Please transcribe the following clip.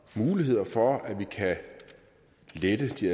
muligheder for at vi kan lette de